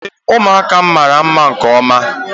Ee, ụmụaka m mara nke ọma